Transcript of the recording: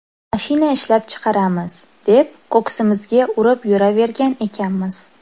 Mashina ishlab chiqaramiz, deb ko‘ksimizga urib yuravergan ekanmiz.